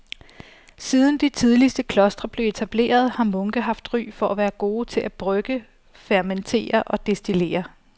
Siden de tidligste klostre blev etableret har munke haft ry for at være gode til at brygge, fermentere og destillere.